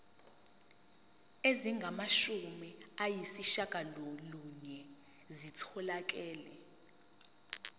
ezingamashumi ayishiyagalolunye zitholakele